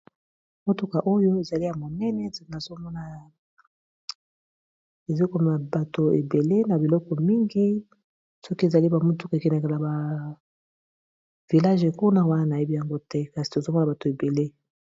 Motuka oyo ezali ya monene. Nazo mona ezo komamema bato ebele, na biloko mingi. Soki ezali ba mituka ekendeke naba vilage kuna ; wana na yebi yango te. Kasi tozomona bato ebele.